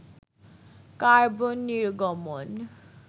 carbon নির্গমন